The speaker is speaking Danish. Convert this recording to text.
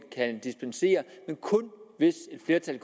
kan dispensere men kun hvis et flertal